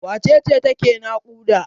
Wace ce take naƙuda?